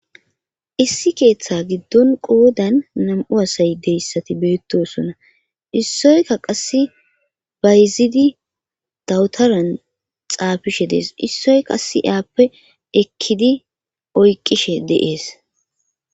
issi keeththa giddon qoodan nam7u asay deyssati beettosonna issoyka qasse bayzidi dawutaran xaafishe dees issoykaase aappe ekkidi oykqishe de7ees